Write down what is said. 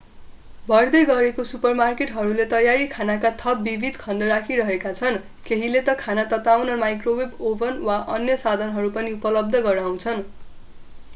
बढ्दै गरेका सुपरमार्केटहरूले तयारी खानाका थप विविध खण्ड राखिरहेका छन् केहीले त खाना तताउन माइक्रोवेव ओभन वा अन्य साधनहरू पनि उपलब्ध गराउँछन्